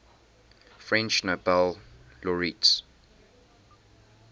french nobel laureates